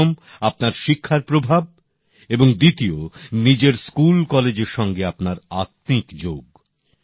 প্রথম আপনার শিক্ষার প্রভাব এবং দ্বিতীয় নিজের স্কুল কলেজের সঙ্গে আপনার আত্মিক যোগ